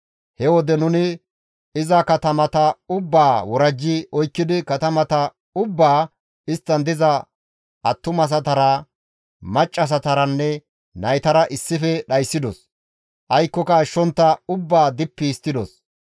He wode nuni iza katamata ubbaa worajji oykkidi katamata ubbaa, isttan diza attumasatara, maccassataranne naytara issife dhayssidos; aykkoka ashshontta ubbaa dippi histtidos.